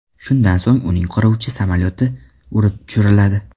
Shundan so‘ng uning qiruvchi samolyoti urib tushiriladi.